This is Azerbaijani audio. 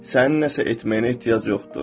Sənin nəsə etməyinə ehtiyac yoxdur.